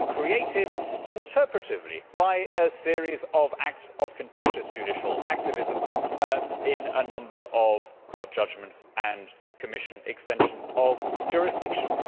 It has been created interpretively by a series of acts of contentious judicial activism in a number of court judgments and Commission extensions of jurisdiction.